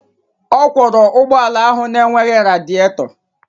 Ọ kwọra ụgbọ ala ahụ na-enweghị radịètọ